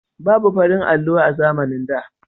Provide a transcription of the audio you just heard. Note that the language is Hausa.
Babu farin allo a zamanin da